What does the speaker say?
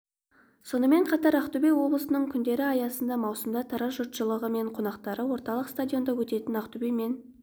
сонымен қатар ақтөбе облысының күндері аясында маусымда тараз жұртшылығы мен қонақтары орталық стадионда өтетін ақтөбе мен